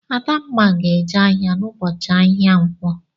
Adanma ga-eje ahịa n'ụbọchị ahịa nkwọ.